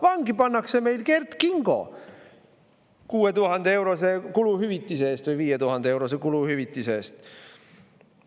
Vangi pannakse meil Kert Kingo 6000‑eurose kuluhüvitise eest või 5000‑eurose kuluhüvitise eest.